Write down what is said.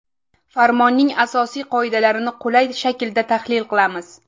Farmonning asosiy qoidalarini qulay shaklda tahlil qilamiz.